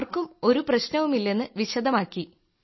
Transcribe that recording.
ആർക്കും ഒരു പ്രശ്നവുമില്ല എന്ന് വിശദമാക്കി